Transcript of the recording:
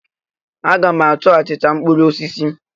A ga m achọ achịcha mkpụrụ osisi.